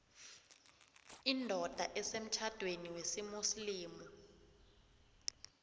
indoda esemtjhadweni wesimuslimu